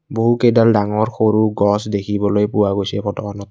বহুকেইডাল ডাঙৰ সৰু গছ দেখিবলৈ পোৱা গৈছে এই ফটোখনত।